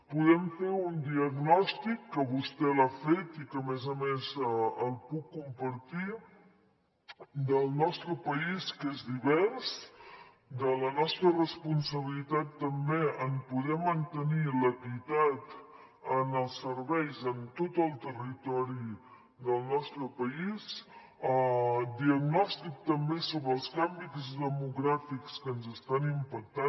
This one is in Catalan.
podem fer un diagnòstic que vostè l’ha fet i que a més a més el puc compartir del nostre país que és divers de la nostra responsabilitat també en poder mantenir l’equitat en els serveis en tot el territori del nostre país diagnòstic també sobre els canvis demogràfics que ens estan impactant